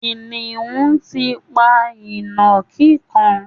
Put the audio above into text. Kìnìún ti pa ìnàkí kan